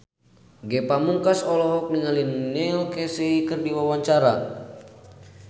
Ge Pamungkas olohok ningali Neil Casey keur diwawancara